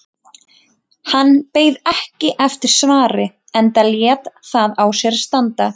Hann beið ekki eftir svari enda lét það á sér standa.